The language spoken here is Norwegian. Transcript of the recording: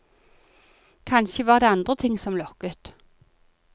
Kanskje var det andre ting som lokket.